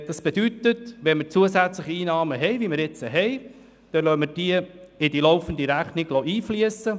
Das bedeutet, wenn wir zusätzliche Einnahmen haben, wie jetzt, dann lassen wir diese in die laufende Rechnung einfliessen.